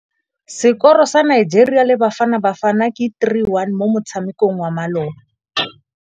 Sekôrô sa Nigeria le Bafanabafana ke 3-1 mo motshamekong wa malôba.